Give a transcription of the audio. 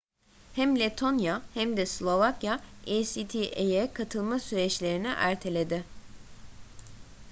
hem letonya hem de slovakya acta'ya katılma süreçlerini erteledi